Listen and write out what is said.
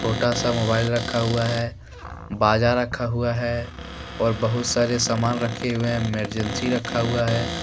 छोटा सा मोबाइल रखा हुआ है बाजा रखा हुआ है और बहुत सारे सामान रखे हुवे है एमरजेंसी रखा हुआ है।